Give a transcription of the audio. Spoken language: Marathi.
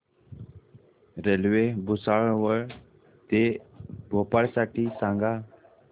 रेल्वे भुसावळ ते भोपाळ साठी सांगा